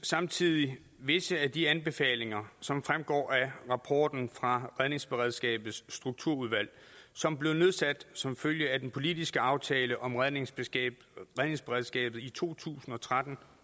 samtidig visse af de anbefalinger som fremgår af rapporten fra redningsberedskabets strukturudvalg som blev nedsat som følge af den politiske aftale om redningsberedskabet redningsberedskabet i to tusind og tretten